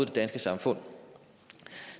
det danske samfund